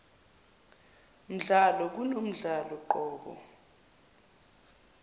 mdlalo kunomdlalo qobo